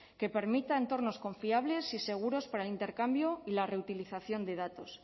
que permita entornos confiables y seguros para el intercambio y la reutilización de datos